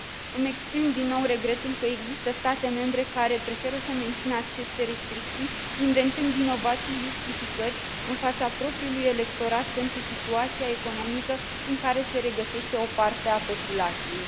Îmi exprim din nou regretul că există state membre care preferă să mențină aceste restricții, inventând vinovați și justificări în fața propriului electorat pentru situația economică în care se regăsește o parte a populației.